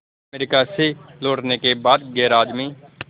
America से लौटने के बाद गैराज में